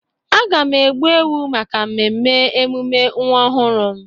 Aga m egbu ewu maka mmemme emume nwa ọhụrụ m.